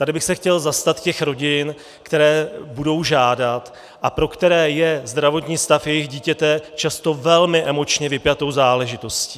Tady bych se chtěl zastat těch rodin, které budou žádat a pro které je zdravotní stav jejich dítěte často velmi emočně vypjatou záležitostí.